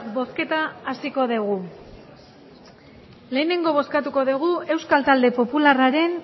bozketa hasiko dugu lehenengo bozkatuko dugu euskal talde popularraren